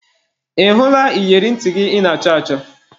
Ị hụla iyeri ntị gị ị na-achọ achọ?